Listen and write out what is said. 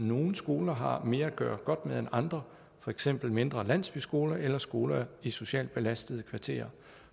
nogle skoler har mere at gøre godt med end andre for eksempel mindre landsbyskoler eller skoler i socialt belastede kvarterer